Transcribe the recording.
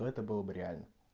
это был бы реально